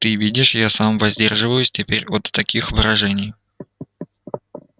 ты видишь я сам воздерживаюсь теперь от таких выражений